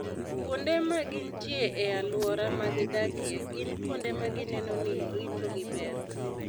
Kuonde ma gintie e alwora ma gidakie, gin kuonde ma gineno ni ritogi ber.